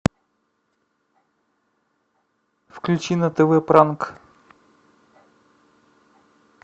включи на тв пранк